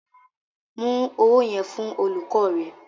Mú owó yẹn fún olùkọ́ rẹ.